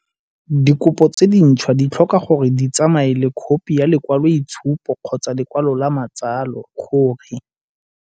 Dikopo tse dintšhwa di tlhoka gore di tsamaye le khophi ya lekwaloitshupo kgotsa ya lekwalo la matsalo gore.